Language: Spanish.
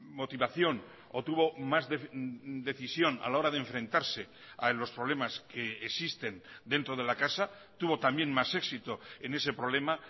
motivación o tuvo más decisión a la hora de enfrentarse a los problemas que existen dentro de la casa tuvo también más éxito en ese problema